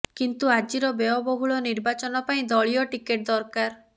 କିନ୍ତୁ ଆଜିର ବ୍ୟୟବହୁଳ ନିର୍ବାଚନ ପାଇଁ ଦଳୀୟ ଟିକେଟ ଦରକାର